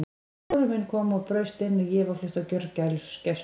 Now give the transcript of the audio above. Sonur minn kom og braust inn og ég var flutt á gjörgæslu.